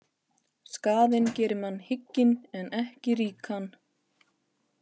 Skaðinn gerir mann hygginn en ekki ríkan.